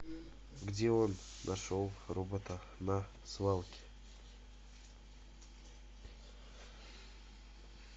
где он нашел робота на свалке